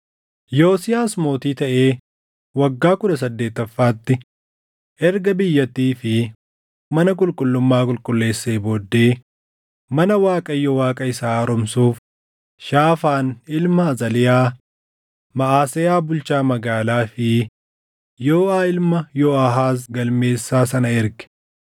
Yosiyaas mootii taʼee waggaa kudha saddeettaffaatti erga biyyattii fi mana qulqullummaa qulqulleessee booddee mana Waaqayyo Waaqa isaa haaromsuuf Shaafaan ilma Azaliyaa, Maʼaseyaa bulchaa magaalaa fi Yooʼaa ilma Yooʼaahaaz galmeessaa sana erge.